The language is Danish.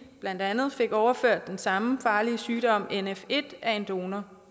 blandt andet fik overført den samme farlige sygdom nf1 af en donor